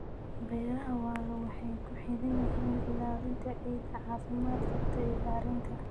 Beeraha waara waxay ku xidhan yihiin ilaalinta ciidda caafimaad qabta iyo bacrinta.